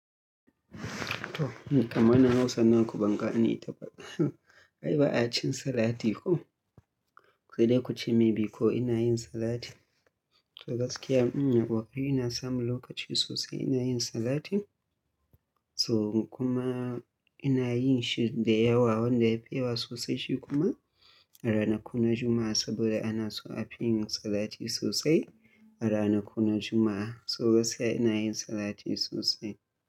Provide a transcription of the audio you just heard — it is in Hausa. To, ni kamana Hausa naku banga ne ta ba. Ai ba a cin salati ko? Sai dai kuce maybe ko ina yin salati. To gaskiya ina kokari ina samu lokaci sosai ina yin salati. So kuma ina yin shi da yawa, wanda yafi yawa sosai shi kuma. A ranakuna Jumma'a saboda ana so a fi yin salati sosai. A ranakuna Jumma'a. So gaskiya ina yin salati sosai.